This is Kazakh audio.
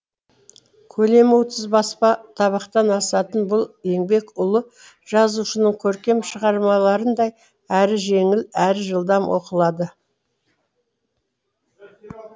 көлемі отыз баспа табақтан асатын бұл еңбек ұлы жазушының көркем шығармаларындай әрі жеңіл әрі жылдам оқылады